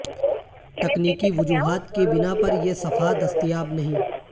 تکنیکی وجوہات کی بنا پر یہ صفحہ دستیاب نہیں